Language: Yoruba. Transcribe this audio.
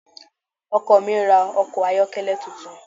Ọkọ mi ra ọkọ̀ ayọ́kẹ́lẹ́ tuntun.